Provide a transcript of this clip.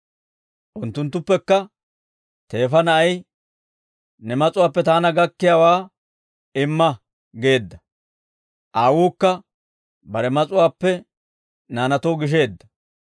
unttunttuppekka teefa na'ay, ‹Ne mas'uwaappe taana gakkiyaawaa imma› geedda. Aawuukka bare mas'uwaappe naanaatoo gisheedda.